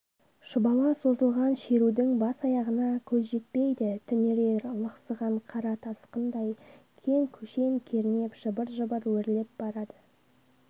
шұбала созылған шерудің бас-аяғына көз жетпейді түнере лықсыған қара тасқындай кең көшен кернеп жыбыр-жыбыр өрлеп барады